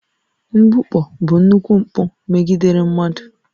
Mgbukpọ bụ nnukwu mpụ megidere mmadụ